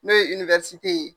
N'o ye ye